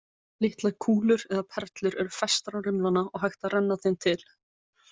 Litlar kúlur eða perlur eru festar á rimlana og hægt að renna þeim til.